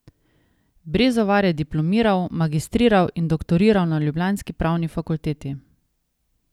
Brezovar je diplomiral, magistriral in doktoriral na ljubljanski pravni fakulteti.